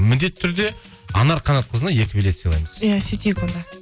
міндетті түрде анар қанатқызына екі билет сыйлаймыз иә сөйтейік онда